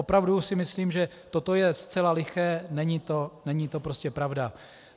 Opravdu si myslím, že toto je zcela liché, není to prostě pravda.